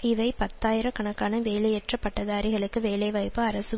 இவை பத்தாயிரக் கணக்கான வேலையற்ற பட்டதாரிகளுக்கு வேலைவாய்ப்பு அரசு